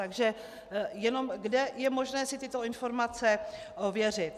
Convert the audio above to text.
Takže jenom kde je možné si tyto informace ověřit.